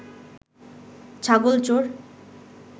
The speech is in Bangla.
ছাগল চোর